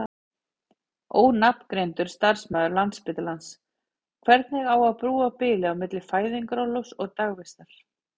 Ónafngreindur starfsmaður Landspítalans: Hvernig á að brúa bilið á milli fæðingarorlofs og dagvistar?